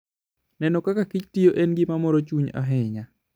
Neno kaka kich tiyo en gima moro chuny ahinya.